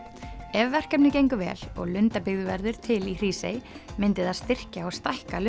ef verkefnið gengur vel og lundabyggð verður til í Hrísey myndi það styrkja og stækka